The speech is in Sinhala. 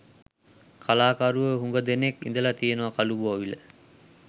කලාකරුවෝ හුඟ දෙනෙක් ඉඳලා තියෙනවා කළුබෝවිල.